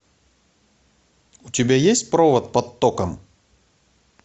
у тебя есть провод под током